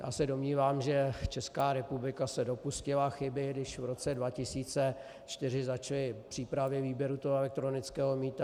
Já se domnívám, že Česká republika se dopustila chyby, když v roce 2004 začaly přípravy výběru toho elektronického mýta.